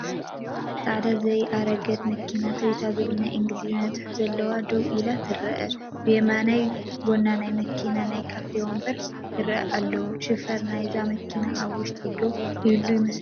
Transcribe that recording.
ፃዕዳ ዘየኣረገት መኪና TOYOTA ዝብል ናይ ኢንግሊዝኛ ፅሑፍ ዘለዋ ደው ኢላ ትረአ፡፡ ብየማናይ ጎኒ ናይታ መኪና ናይ ካፌ ወንበራት ይራኣዩ ኣለው፡፡ ሽፌር ናይዛ መኪና ኣብ ውሽጢ ዶ ይህሉ ይመስለኩም?